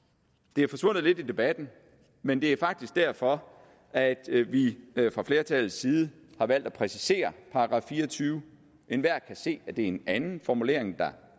det er forsvundet lidt i debatten men det er faktisk derfor at vi fra flertallets side har valgt at præcisere § fireogtyvende enhver kan se at det er en anden formulering der